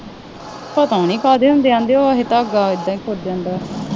ਪਤਾ ਨਹੀਂ ਕਾਹਦੇ ਹੁੰਦੇ ਹੈ ਕਹਿੰਦੇ ਇਹ ਧਾਗਾ ਏਦਾਂ ਹੀ ਖੁਰ ਜਾਂਦਾ ਹੈ